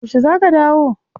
Yaushe za ka dawo?